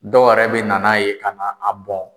Dɔw wɛrɛ bɛ na n'a ye ka na a bɔn.